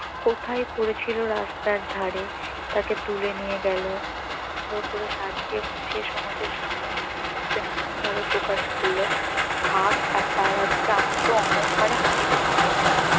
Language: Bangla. কোথায় পড়েছিল রাস্তার ধারে তাকে তুলে নিয়ে গেল সুন্দর করে সাজিয়ে গুছিয়ে সমাজের সামনে নতুন রূপে নতুন ভাবে প্রকাশ করল ভাব তার আজকে আত্ম-অহঙ্কারে মাটিতে পা পড়েনা